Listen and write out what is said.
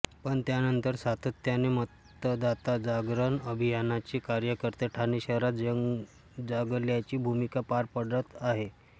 पण त्यानंतर सातत्याने मतदाता जागरण अभियानाचे कार्यकर्ते ठाणे शहरात जागल्याची भूमिका पार पाडत आहेत